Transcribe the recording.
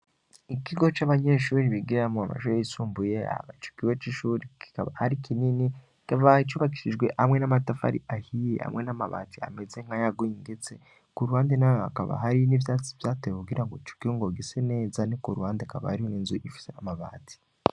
Ikigo c'abanyeshuri bigira mo amashuri isumbuye abacukiwe c'ishuri kikaba ari kinini kavaha icubakisijwe hamwe n'amatafa ari ahiye hamwe n'amabati ameze nk'ayaguye ingetse ku ruwande nawe akaba hari n'ivyatsi vyatewe kugira ngo cukiho ngo gise neza ni ku ruwande akaba arimwo inzu ifise amabati.